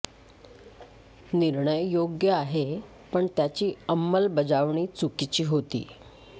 निर्णय योग्य आहे पण त्याची अंमलबजावणी चुकीची होती